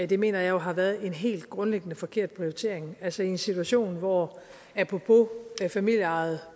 det mener jeg jo har været en helt grundlæggende forkert prioritering altså i en situation hvor apropos familieejede